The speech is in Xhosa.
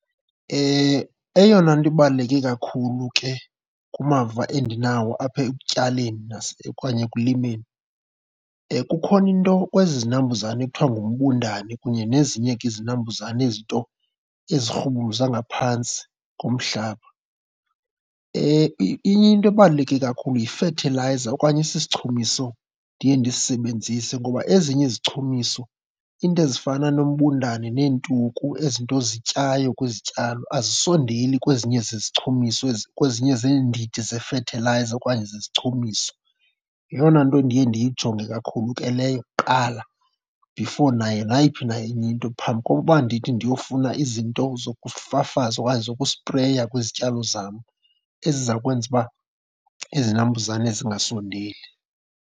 Eyona nto ibaluleke kakhulu ke kumava endinawo apha ekutyaleni okanye ekulimeni, kukhona into kwezi zinambuzane ekuthiwa ngumbundane kunye nezinye ke izinambuzane, ezi 'nto ezirhubuluza ngaphantsi komhlaba. Inye into ebaluleke kakhulu yifethilayiza okanye esi sichumiso ndiye ndisisebenzise. Ngoba ezinye izichumiso, iinto ezifana nombundane neentuku, ezi 'nto zityayo kwizityalo, azisondeli kwezinye zezichumiso , kwezinye zeendidi zefethilayiza okanye zezichumiso. Yeyona nto ndiye ndiyijonge kakhulu ke leyo kuqala before nayo nayiphi na enye into, phambi kokuba ndithi ndiyofuna izinto zokufafaza okanye zokusipreya kwizityalo zam eziza kwenza uba izinambuzane zingasondeli.